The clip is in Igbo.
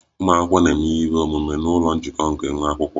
Ụmụ akwụkwọ na-eme ihe omume n'ụlọ njikọ nke nwa akwụkwọ